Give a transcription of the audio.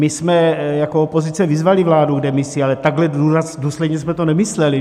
My jsme jako opozice vyzvali vládu k demisi, ale takhle důsledně jsme to nemysleli.